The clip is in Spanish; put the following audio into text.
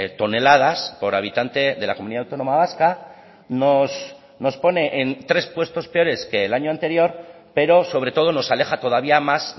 toneladas por habitante de la comunidad autónoma vasca nos pone en tres puestos peores que el año anterior pero sobre todo nos aleja todavía más